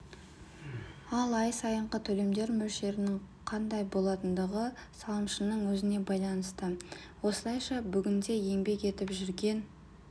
ал ай сайынғы төлемдер мөлшерінің қандай болатындығы салымшының өзіне байланысты осылайша бүгінде еңбек етіп жүрген